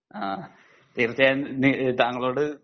അഹ് തീർച്ചയായും താങ്കളോട്